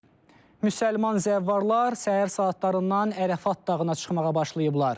Müsəlman zəvvarlar səhər saatlarından Ərafat dağına çıxmağa başlayıblar.